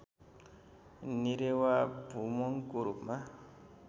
निरेवाभुमोङको रूपमा